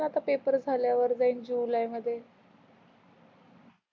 मी तर आता पेपर झाल्यावर जाईल जुलाई मध्य